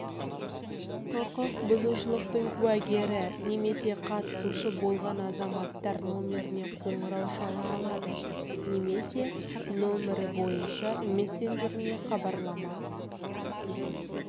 құқық бұзушлықтың куәгері немесе қатысушысы болған азаматтар номеріне қоңырау шала алады немесе номері бойынша мессенджеріне хабарлама